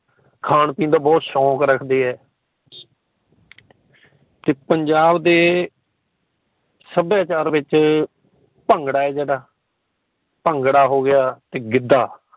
ਖਾਣ ਪੀਣ ਦਾ ਬੜਾ ਸ਼ੋਕ ਰੱਖਦੇ ਹੈ ਤੇ ਪੰਜਾਬ ਦੇ ਸੱਭਿਆਚਾਰ ਵਿੱਚ ਭੰਗੜਾ ਹੈ ਜੇੜਾ ਭੰਗੜਾ ਹੋ ਗਿਆ ਗਿੱਧਾ